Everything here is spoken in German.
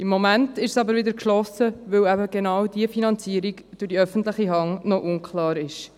Im Moment ist es aber wieder geschlossen, weil genau die Finanzierung durch die öffentliche Hand noch unklar ist.